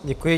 Děkuji.